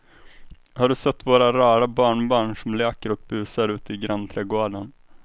Har du sett våra rara barnbarn som leker och busar ute i grannträdgården!